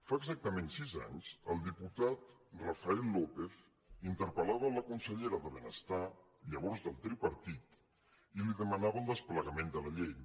fa exactament sis anys el diputat rafael lópez interpel·lava la consellera de benestar llavors del tripartit i li demanava el desplegament de la llei